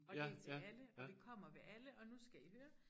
Og det til alle og det kommer ved alle og nu skal i høre